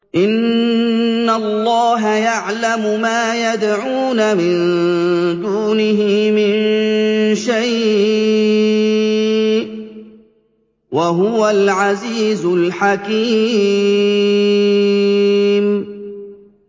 إِنَّ اللَّهَ يَعْلَمُ مَا يَدْعُونَ مِن دُونِهِ مِن شَيْءٍ ۚ وَهُوَ الْعَزِيزُ الْحَكِيمُ